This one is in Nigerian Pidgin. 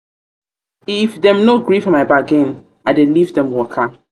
if dem no gree for my bargain i dey leave dem waka.